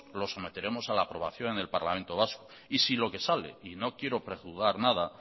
los meteremos a la aprobación en el parlamento vasco y si lo que sale y no quiero prejuzgar nada